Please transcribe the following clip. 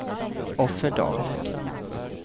Offerdal